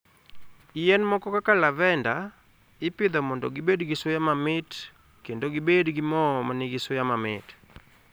Yien moko kaka lavender, ipidho mondo gibed gi suya mamit kendo gibed gi mo ma nigi suya mamit.